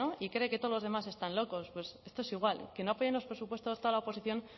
y cree que todos los demás están locos pues esto es igual que no apoyen los presupuestos toda la oposición